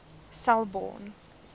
selborne